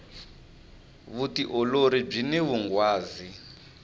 vutiolori byini vunghwazi